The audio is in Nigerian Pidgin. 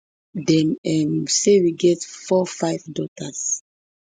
dem um say we already get fourfive daughters